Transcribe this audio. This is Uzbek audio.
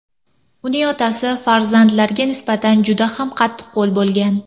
Uning otasi farzandlarga nisbatan juda ham qattiqqo‘l bo‘lgan.